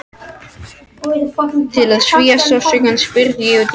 Til að svía sársaukann spurði ég útí hött